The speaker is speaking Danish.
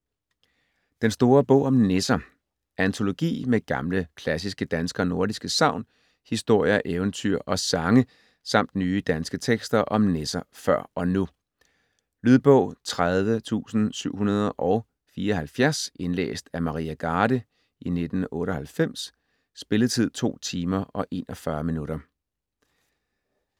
Den store bog om nisser Antologi med gamle, klassiske danske og nordiske sagn, historier, eventyr og sange samt nye danske tekster om nisser før og nu. Lydbog 30774 Indlæst af Maria Garde, 1998. Spilletid: 2 timer, 41 minutter.